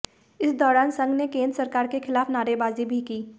इस दौरान संघ ने केंद्र सरकार के खिलाफ नारेबाजी भी की